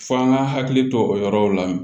F'an ka hakili to o yɔrɔw la